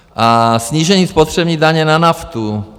A snížení spotřební daně na naftu.